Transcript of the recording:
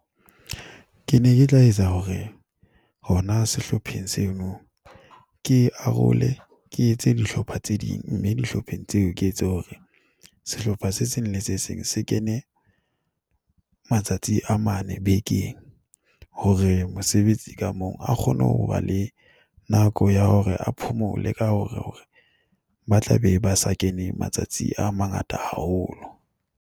Ke ne ke tla etsa hore hona sehlopheng seno, ke arole ke etse dihlopha tse ding. Mme dihlopheng tseo ke etse hore sehlopha se seng le se seng se kene matsatsi a mane bekeng hore mosebetsi ka moo a kgone hoba le nako ya hore a phomole ka hore ba tlabe ba sa kene matsatsi a mangata haholo.